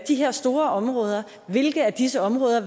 de her store områder hvilke af disse områder